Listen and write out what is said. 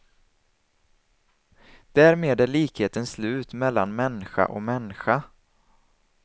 Därmed är likheten slut mellan mänska och mänska.